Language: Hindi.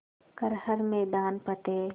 कर हर मैदान फ़तेह